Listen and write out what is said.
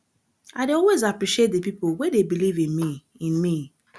i dey always appreciate di pipo wey dey believe in me in me